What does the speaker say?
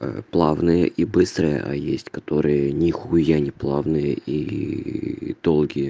плавные и быстрая а есть которые нихуя не плавные и долгие